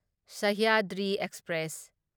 Sahyadri express